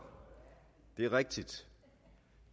det er rigtigt